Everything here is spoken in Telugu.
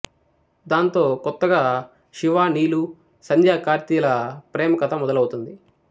దాంతో కొత్తగా శివ నీలు సంధ్య కార్తీ ల ప్రేమ కథ మొదలవుతుంది